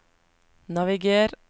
naviger